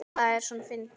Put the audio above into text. Hvað er svona fyndið?